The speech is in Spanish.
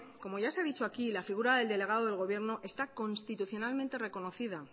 como ya se ha dicho aquí la figura del delegado del gobierno está constitucionalmente reconocida